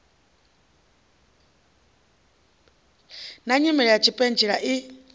na nyimele ya tshipentshela i